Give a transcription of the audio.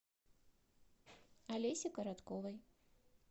олесе коротковой